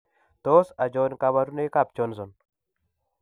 Tos achon kabarunaik ab Johnson ?